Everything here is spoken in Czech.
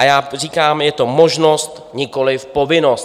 A já říkám: Je to možnost, nikoliv povinnost.